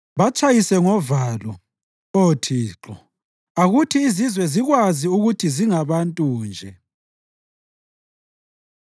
Batshayise ngovalo, Oh Thixo; akuthi izizwe zikwazi ukuthi zingabantu nje.